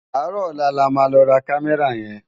Áàrò òlá lá má lò rá Kàmèrá yèn